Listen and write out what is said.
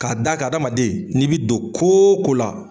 K'a d'a kan adamaden n'i bi don ko wo ko la.